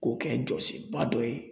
K'o kɛ jɔsenba dɔ ye